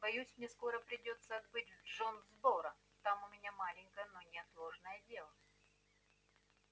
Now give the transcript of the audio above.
боюсь мне скоро придётся отбыть в джонсборо там у меня маленькое но неотложное дело